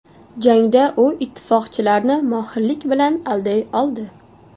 Jangda u ittifoqchilarni mohirlik bilan alday oldi.